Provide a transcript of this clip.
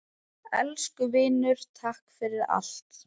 Elsku vinur, takk fyrir allt.